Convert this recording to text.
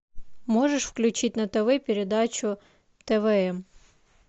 можешь включить на тв передачу твм